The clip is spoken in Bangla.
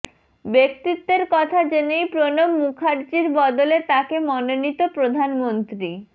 ব্যক্তিত্বের কথা জেনেই প্রণব মুখার্জির বদলে তাকে মনোনীত প্রধানমন্ত্রী